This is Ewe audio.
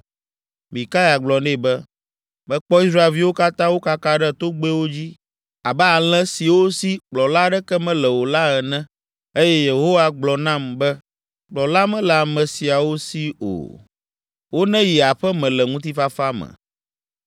Mikaya gblɔ nɛ be, “Mekpɔ Israelviwo katã wokaka ɖe togbɛwo dzi abe alẽ siwo si kplɔla aɖeke mele o la ene eye Yehowa gblɔ nam be, ‘Kplɔla mele ame siawo si o; woneyi aƒe me le ŋutifafa me.’ ”